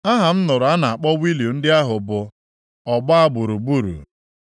Aha m nụrụ a na-akpọ wịịlu ndị ahụ bụ, Ọgba gburugburu.